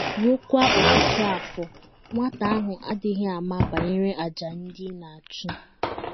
Ruokwa ọtụtụ afọ, nwata ahụ adịghị ama banyere àjà ndị ị na - achụ.